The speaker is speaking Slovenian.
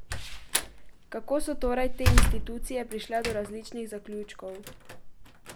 Kako so torej te institucije prišle do različnih zaključkov?